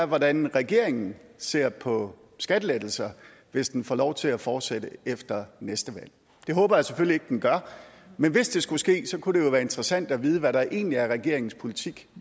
hvordan regeringen ser på skattelettelser hvis den får lov til at fortsætte efter næste valg det håber jeg selvfølgelig ikke den gør men hvis det skulle ske kunne det jo være interessant at vide hvad der egentlig er regeringens politik